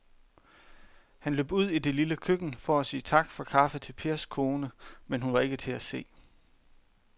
Han løb ud i det lille køkken for at sige tak for kaffe til Pers kone, men hun var ikke til at se.